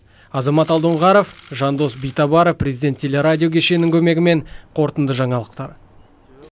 азамат алдоңғаров жандос битабаров президент телерадио кешенінің көмегімен қорытынды жаңалықтар